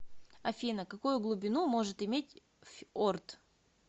афина какую глубину может иметь фьорд